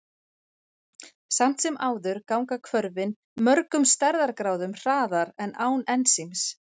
Samt sem áður ganga hvörfin mörgum stærðargráðum hraðar en án ensíms.